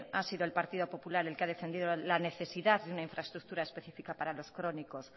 ha sido el partido popular el que ha defendido la necesidad de una infraestructura específica para los crónicos